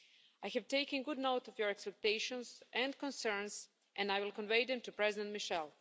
I have taken good note of your expectations and concerns and I will convey them to President Michel.